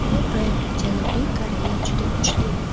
To‘g‘ri, Janubiy Koreya juda kuchli.